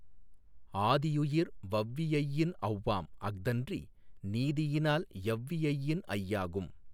ஆதியுயிர் வவ்வியையின் ஔவாம் அஃதன்றி நீதியினால் யவ்வியையின் ஐயாகும்.